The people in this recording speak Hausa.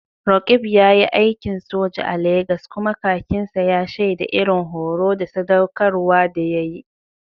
Roqeeb ya yi aikin soja a Legas, kuma kakin sa ya shaida irin horo da sadaukarwa da ya yi.